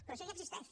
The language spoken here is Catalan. però això ja existeix